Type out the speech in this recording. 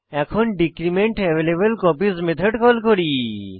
এখন decrement available copies method call করি